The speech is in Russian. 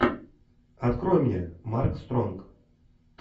открой мне марк стронг